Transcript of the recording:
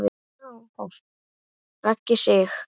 Raggi Sig.